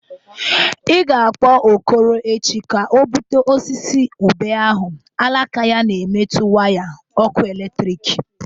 Ị ga-akpọ Okoro echi ka o butue osisi ube ahụ alaka ya na-emetu waya ọkụ eletriki.